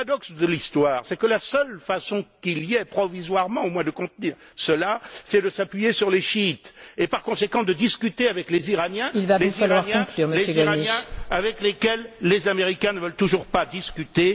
Le paradoxe de l'histoire, c'est que la seule façon qu'il y ait, provisoirement au moins, de contenir cela, c'est de s'appuyer sur les Chiites et, par conséquent, de discuter avec les Iraniens avec lesquels les Américains ne veulent toujours pas discuter.